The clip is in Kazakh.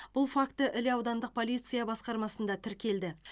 бұл факт іле аудандық полиция басқармасында тіркелді